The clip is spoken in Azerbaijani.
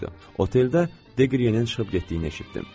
Oteldə Degryenin çıxıb getdiyini eşitdim.